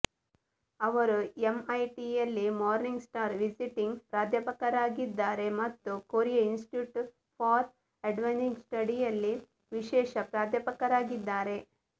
ಅವರು ಎಂಐಟಿಯಲ್ಲಿ Morningstar visiting ಪ್ರಾಧ್ಯಾಪಕರಾಗಿದ್ದಾರೆ ಮತ್ತು Korea Institute for Advanced Study ಯಲ್ಲಿ ವಿಶೇಷ ಪ್ರಾಧ್ಯಾಪಕರಾಗಿದ್ದಾರೆ